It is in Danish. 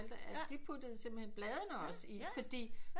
At de puttede simpelthen pladene også i fordi